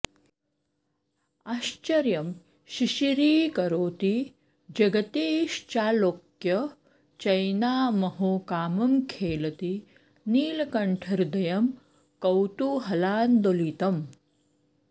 आश्चर्यं शिशिरीकरोति जगतीश्चालोक्य चैनामहो कामं खेलति नीलकण्ठहृदयं कौतूहलान्दोलितम्